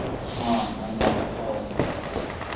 हा महिन्याला हाव